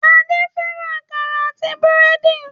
Adé fẹ́ràn àkàrà àti búrẹ́dì.